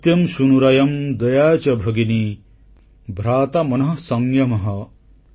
ସତ୍ୟଂ ସୁନୁରୟଂ ଦୟା ଚ ଭଗିନୀ ଭ୍ରାତା ମନଃ ସଂଯମଃ